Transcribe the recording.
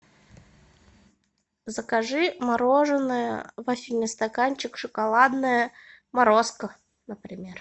закажи мороженое вафельный стаканчик шоколадное морозко например